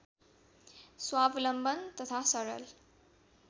स्वालम्बन तथा सरल